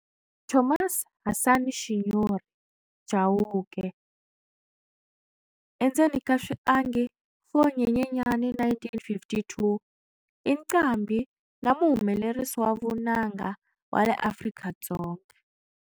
Thomas Hasani"Shinyori" Chauke, 4 Nyenyenyani 1952, i nqambhi na muhumelerisi wa vunanga wa le Afrika-Dzonga.